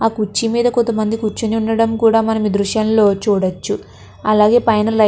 ఆ కుర్చీ మీద కొంతమంది కూర్చుని ఉండడం కూడా మనం దృశ్యం లో చూడొచ్చు. అలాగే పైన లైట్ --